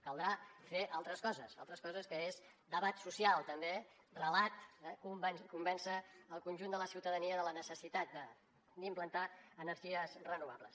caldrà fer altres coses altres coses que són debat social també relat convèncer el conjunt de la ciutadania de la necessitat d’implantar energies renovables